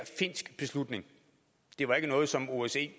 finsk beslutning det var ikke noget som osce